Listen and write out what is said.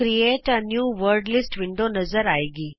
ਇਕ create a new word list window ਨਜ਼ਰ ਆਏਗੀ